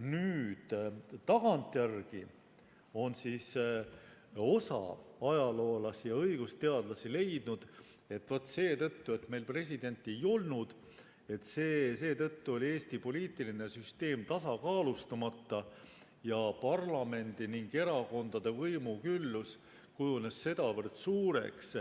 Nüüd tagantjärele on osa ajaloolasi ja õigusteadlasi leidnud, et vaat seetõttu, et meil presidenti ei olnud, oli Eesti poliitiline süsteem tasakaalustamata ning parlamendi ja erakondade võimuküllus kujunes sedavõrd suureks,